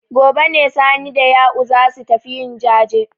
Gobe ne Sani da Ya'u za su tafi yin jaje.